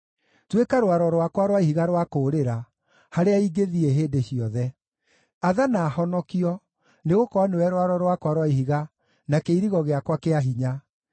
Tuĩka rwaro rwakwa rwa ihiga rwa kũũrĩra, harĩa ingĩthiĩ hĩndĩ ciothe; athana honokio, nĩgũkorwo nĩwe rwaro rwakwa rwa ihiga na kĩirigo gĩakwa kĩa hinya.